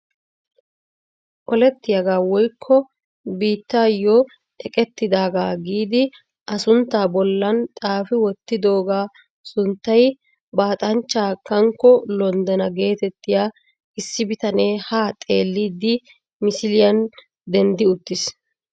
Olettiyaagaa woykko biittaayoo eqqettidagaa giidi a sunttaa bollaan xaafi wottidogaa sunttay baxaamchchaa kankko londenna getettiyaa issi bitanee haa xeellidi misiliyaan denddi uttiis.